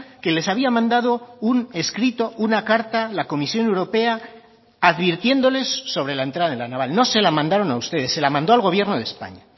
que les había mandado un escrito una carta la comisión europea advirtiéndoles sobre la entrada en la naval no se la mandaron a ustedes se la mandó al gobierno de españa